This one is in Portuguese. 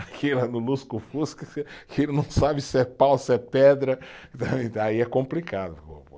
Aqui no lusco-fusco, que ele não sabe se é pau, se é pedra, aí é complicado.